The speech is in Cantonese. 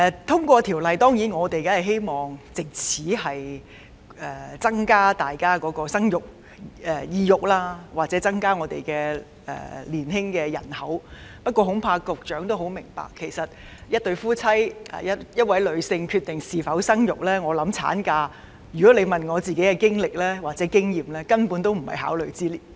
我們當然希望《條例草案》獲得通過，藉此提升市民生兒育女的意欲，甚或增加香港的年輕人口，但恐怕局長也明白到，其實一對夫婦或一位女性在決定是否生育時——假如你問我的個人經歷或經驗——產假根本不在考慮之列。